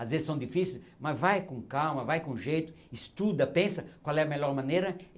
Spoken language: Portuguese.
Às vezes são difíceis, mas vai com calma, vai com jeito, estuda, pensa qual é a melhor maneira.